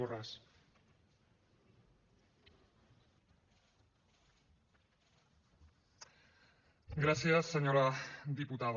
gràcies senyora diputada